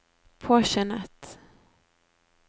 påskyndet